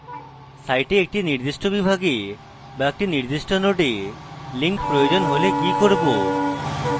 site একটি নির্দিষ্ট বিভাগে বা নির্দিষ্ট নোডে link প্রয়োজন হলে কি করব